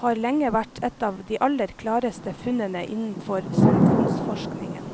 har lenge vært et av de aller klareste funnene innenfor samfunnsforskningen.